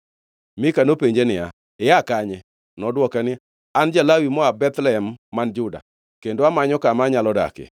Mika nopenje niya, “Ia kanye?” Nodwoke niya, “An ja-Lawi moa Bethlehem man Juda, kendo amanyo kama anyalo dakie.”